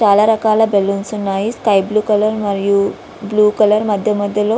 చాలా రకాల బెలూన్స్ ఉన్నాయి. స్కీ బ్లూ కలర్ మరియు బ్లూ కలర్ మధ్య మధ్య లో--